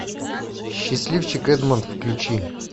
счастливчик эдмонд включи